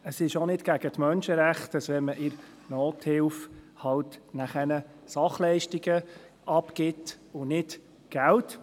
Es ist auch nicht gegen die Menschrechte, dass man in der Nothilfe halt Sachleistungen abgibt und nicht Geld.